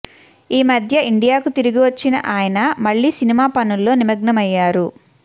ఈ మధ్య ఇండియాకు తిరిగొచ్చిన ఆయన మళ్లీ సినిమా పనుల్లో నిమగ్నమయ్యారు